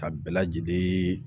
Ka bɛɛ lajɛlen